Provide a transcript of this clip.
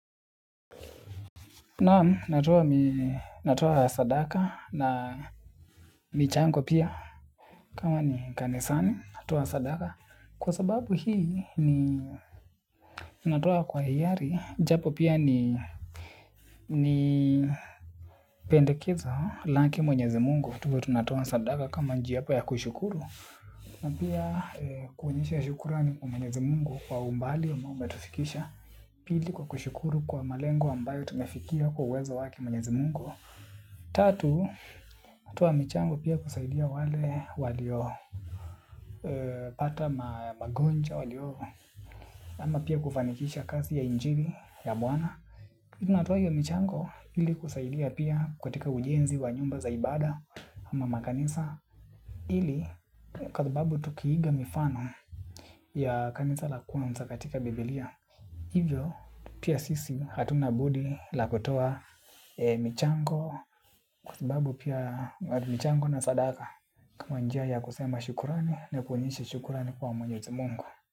Naam natoa sadaka na michango pia kama ni kanisani natoa sadaka. Kwa sababu hii ni natoa kwa hiari. Japo pia ni pendekezo lake mwenyezi mungu. Tuwe tunatoa sadaka kama njia hapo ya kushukuru. Na pia kuonyesha ya shukurani kwa mwenyezi mungu kwa umbali ambao umetufikisha. Pili kwa kushukuru kwa malengo ambayo tumefikia kwa uwezo wake mwenyezi mungu. Tatu, natoa michango pia kusaidia wale waliyo pata magonjwa waliyo ama pia kufanikisha kazi ya injili ya Bwana Natoa hiyo michango ili kusaidia pia kutika ujenzi wa nyumba za ibada ama makanisa ili kwa sababu tukiiga mifano ya kanisa la kwanza katika bibilia. Hivyo, pia sisi hatuna budi la kotoa michango kwa sababu pia michango na sadaka. Kama njia ya kusema shukurani na kuonyesha shukuran kwa mwenyezi mungu.